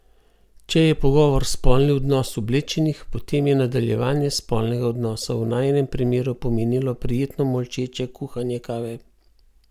Če je pogovor spolni odnos oblečenih, potem je nadaljevanje spolnega odnosa v najinem primeru pomenilo prijetno molčeče kuhanje kave.